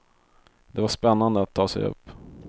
Det var spännande att ta sig upp.